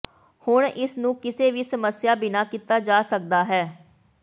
ਹੁਣ ਇਸ ਨੂੰ ਕਿਸੇ ਵੀ ਸਮੱਸਿਆ ਬਿਨਾ ਕੀਤਾ ਜਾ ਸਕਦਾ ਹੈ